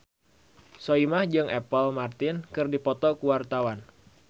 Soimah jeung Apple Martin keur dipoto ku wartawan